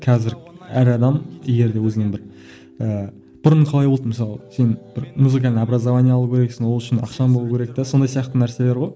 қазір әр адам егер де өзің бір ііі бұрын қалай болды мысалы сен бір музыкальный образование алу керексің ол үшін ақшаң болу керек те сондай сияқты нәрселер ғой